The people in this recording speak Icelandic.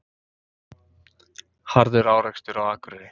Harður árekstur á Akureyri